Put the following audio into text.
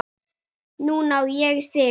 Núna á ég þig.